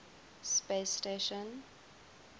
space station